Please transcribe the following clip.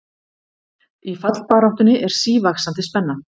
Í fallbaráttunni er sívaxandi spenna